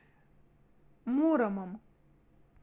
муромом